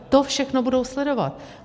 To všechno budou sledovat.